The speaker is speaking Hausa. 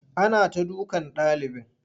Ana ta dukan ɗalibin.